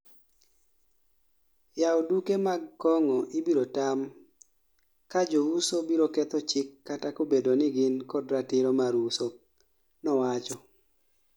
"Yao duke mag kong'o ibiro tam, kaa jouso biro ketho chik kata kobedo ni gin kod ratiro mar uso",nowacho.